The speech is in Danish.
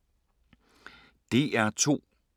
DR2